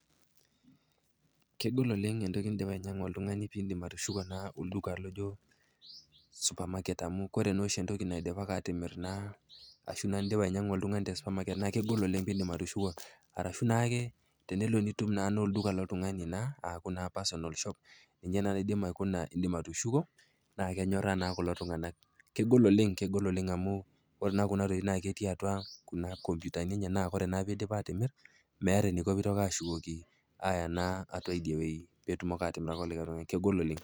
Kegol oleng entoki nindipa ainyang'a oltung'ani piindim atushuko olduka laijo supermarket amu ore oshi entoki naidipaki atimir ashu eninyang'a oltung'ani te supermarket naa kegol oleng peindim atushuko arashu naake tenelo nitum na olduka loltung'ani aaku naa personal shop ninye naa naidim aikuna, indim atushuko naa kenyoraa naa kulo tung'ana, kegol oleng naa kegol amu ore naa kunatokitin enye naa ketii naa atua kuna ikomputani naa ore peidip atimir, meata eneiko pee eitoki ashukoki aya naa atua idiwei peetumoki atimiraki likai tung'ani.